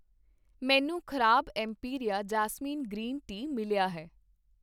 ਮੈਨੂੰ ਖ਼ਰਾਬ Imperia jasmine green tea ਮਿਲਿਆ ਹੈ